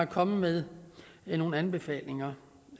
kommet med nogle anbefalinger